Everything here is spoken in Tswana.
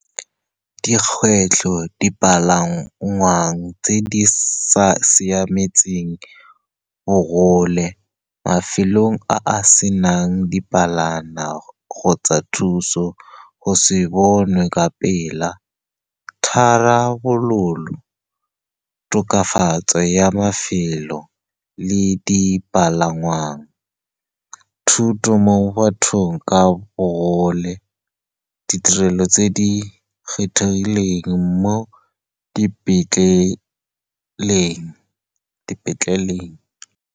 Dikgwetlho, dipalangwa tse di sa siametseng bogole, mafelo a a senang kgotsa thuso, go se bonwe ka pela. Tharabololo, tokafatso ya mafelo le dipalangwa, thuto mo bathong ka bogole, ditirelo tse di kgethegileng mo dipetleleng.